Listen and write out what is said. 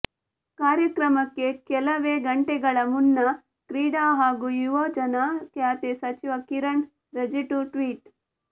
ಕಾರ್ಯಕ್ರಮಕ್ಕೆ ಕೆಲವೇ ಗಂಟೆಗಳ ಮುನ್ನ ಕ್ರೀಡಾ ಹಾಗೂ ಯುವಜನ ಖಾತೆ ಸಚಿವ ಕಿರಣ್ ರಿಜಿಜು ಟ್ವೀಟ್